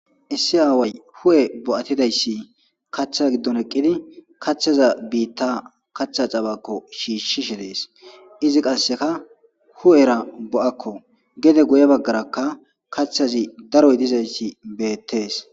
issi aaway hu7e bo7atidayssi kaththa giddon eqqidi kaththaza biitta kaththa cabakko shiishshishe dees izi qasseka hu7era bo7akko gede goye baggarakka kaththazi daroy dizayssi beettees